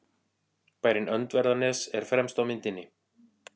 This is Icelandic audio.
Bærinn Öndverðarnes er fremst á myndinni.